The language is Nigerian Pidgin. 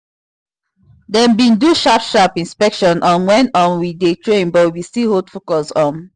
dem been do sharp sharp inspection um when um we dey train but we still hold focus um